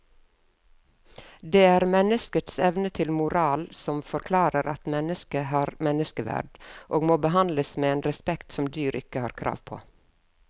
Det er menneskets evne til moral som forklarer at mennesket har menneskeverd og må behandles med en respekt som dyr ikke har krav på.